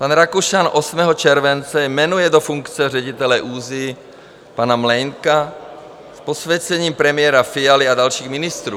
Pan Rakušan 8. července jmenuje do funkce ředitele ÚZSI pana Mlejnka, s posvěcením premiéra Fialy a dalších ministrů.